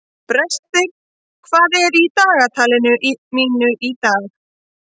Brestir, hvað er í dagatalinu mínu í dag?